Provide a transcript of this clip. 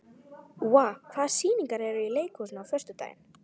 Úa, hvaða sýningar eru í leikhúsinu á föstudaginn?